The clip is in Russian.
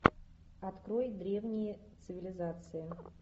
открой древние цивилизации